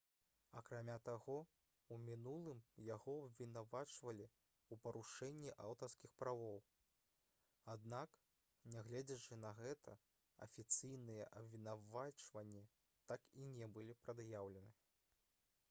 акрамя таго у мінулым яго абвінавачвалі ў парушэнні аўтарскіх правоў аднак нягледзячы на гэта афіцыйныя абвінавачванні так і не былі прад'яўлены